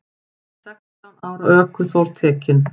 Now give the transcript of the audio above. Sextán ára ökuþór tekinn